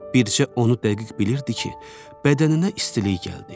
Bircə onu dəqiq bilirdi ki, bədəninə istilik gəldi.